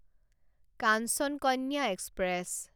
Kanchan Kanya express